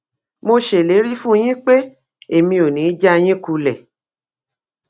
mo ṣèlérí fún yín pé èmi ò ní í já yín kulẹ